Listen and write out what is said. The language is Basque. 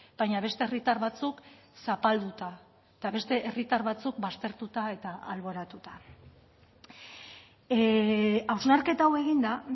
baina beste herritar batzuk zapalduta eta beste herritar batzuk baztertuta eta alboratuta hausnarketa hau eginda